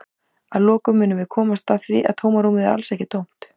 Að lokum munum við komast að því að tómarúmið er alls ekki tómt!